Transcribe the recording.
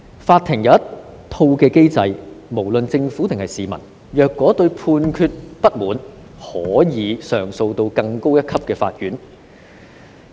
法庭有一套機制，不論政府或市民，只要對判決有不滿，均可向更高一級的法院提出上訴。